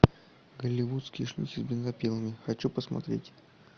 голливудские шлюхи с бензопилами хочу посмотреть